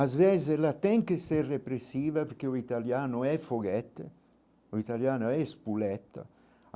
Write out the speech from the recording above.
Às vezes ela tem que ser repressiva porque o italiano é foguete, o italiano é espuleta.